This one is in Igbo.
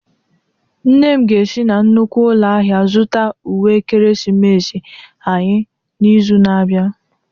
Nne m ga-esi na nnukwu ụlọ ahịa zụta uwe ekeresimesi anyị n'izu na-abịa.